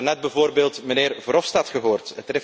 We hebben daarnet bijvoorbeeld de heer Verhofstadt gehoord.